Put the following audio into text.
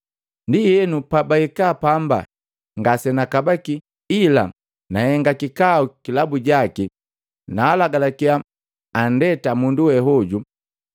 Ndienu, pabahika pamba ngase nakabaki, ila nahenga kikau kilabu jaki, naa lagalakia anndeta mundu we hoju.